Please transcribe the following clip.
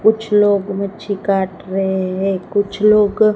कुछ लोग मच्छी काट रहे हैं। कुछ लोग--